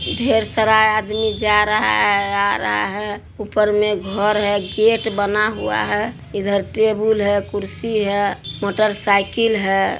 ढेर सारा आदमी जा रहा है आ रहा है। ऊपर में घर है गेट बना हुआ है। इधर टेबुल है कुर्सी है मोटरसाइकिल है।